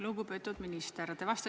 Lugupeetud minister!